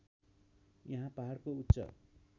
यहाँ पहाडको उच्च